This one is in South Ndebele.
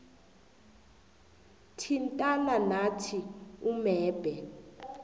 thintana nathi umebhe